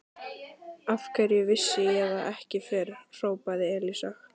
Af hverju vissi ég það ekki fyrr? hrópaði Elísa.